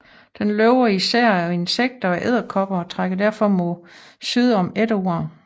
Den lever især af insekter og edderkopper og trækker derfor mod syd om efteråret